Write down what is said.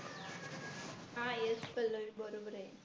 yes Pallavi बरोबर आहे.